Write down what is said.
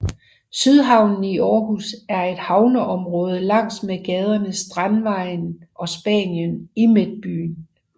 Sydhavnen i Aarhus er et havneområde langs med gaderne Strandvejen og Spanien i Midtbyen